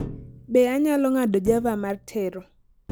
Be anyalo ng'ado java mar tero